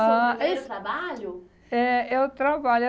Ah. Foi o seu primeiro trabalho? É, eu